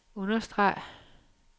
understreg